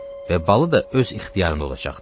Və balı da öz ixtiyarında olacaqdı.